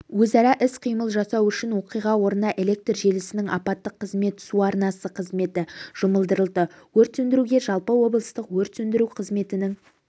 өзара іс-қимыл жасау үшін оқиға орнына электр желісінің апаттық қызметі су арнасы қызметі жұмылдырылды өрт сөндіруге жалпы облыстық өрт сөндіру қызметінің